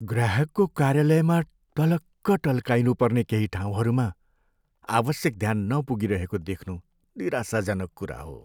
ग्राहकको कार्यालयमा टलक्क टल्काइनुपर्ने केही ठाउँहरूमा आवश्यक ध्यान नपुगिरहेको देख्नु निराशाजनक कुरा हो।